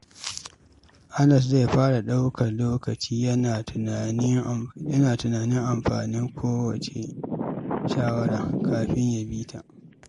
Anas zai fara ɗaukar lokaci yana tunanin amfanin kowace shawara kafin ya bi ta.